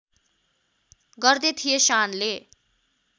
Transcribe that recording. गर्दै थिए शानले